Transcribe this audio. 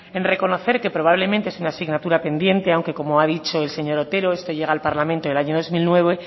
en reconocer que probablemente sea una asignatura pendiente aunque como ha dicho el señor otero este llega al parlamento en el año dos mil nueve